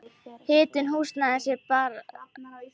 Hitun húsnæðis er þar efst á blaði.